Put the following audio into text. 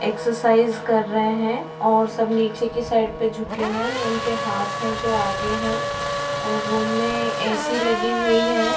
Exercise कर रहे हैं और सब नीचे के साइड पे झुके हुए हैं और उनके हाथ है जो आगे है और रूम में एसी लगी हुई है।